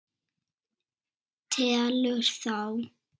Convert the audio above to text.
Telur þá.